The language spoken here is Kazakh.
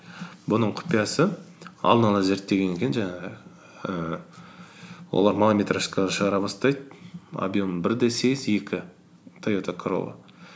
бұның құпиясы алдынғы зерттегеннен кейін жаңағы ііі олар малометражкалар шығара бастайды объем бір де сегіз екі тойота королла